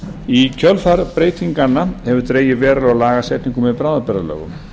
í kjölfar breytinganna hefur dregið verulega úr lagasetningu með bráðabirgðalögum